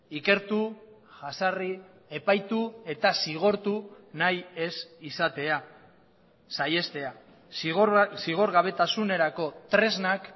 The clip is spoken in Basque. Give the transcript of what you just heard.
ikertu jazarri epaitu eta zigortu nahi ez izatea saihestea zigorgabetasunerako tresnak